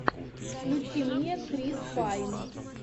включи мне крис пайн